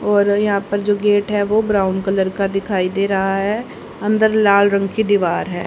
और यहां पर जो गेट है वो ब्राउन कलर का दिखाई दे रहा है अंदर लाल रंग की दीवार है।